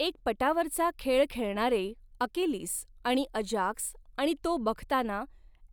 एक पटावरचा खेळ खेळणारे अकिलीस आणि अजाक्स आणि तो बघताना